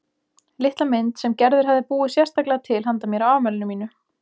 Litla mynd sem Gerður hafði búið sérstaklega til handa mér á afmælinu mínu.